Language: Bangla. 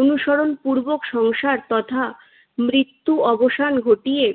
অনুসরণপূর্বক সংসার তথা মৃত্যু অবসান ঘটিয়ে